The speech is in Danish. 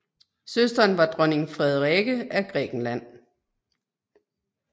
Søsteren var dronning Frederike af Grækenland